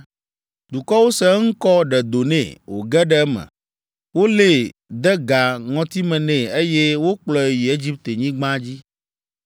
Dukɔwo se eŋkɔ ɖe do nɛ, wòge ɖe eme, wolée, de ga ŋɔtime nɛ, eye wokplɔe yi Egiptenyigba dzi.